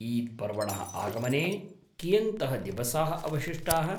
ईद् पर्वणः आगमने कियन्तः दिवसाः अवशिष्टाः ?